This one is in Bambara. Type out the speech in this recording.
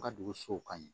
U ka dugusow ka ɲin